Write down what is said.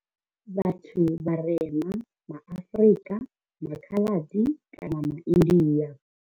Vhathu vharema ma Afrika, MA Khaladi kana MA India.